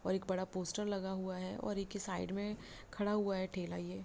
और एक बड़ा पोस्टर लगा हुआ है और की साइड में खड़ा हुआ है ठेला यह--